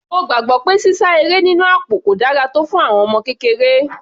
Mo gbàgbọ́ pé sísá eré nínú àpò kò dára tọ́ fún àwọn ọmọ kékeré.